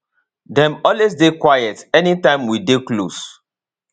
dem always dey quiet anytime we dey close